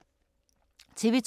TV 2